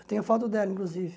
Eu tenho a foto dela, inclusive.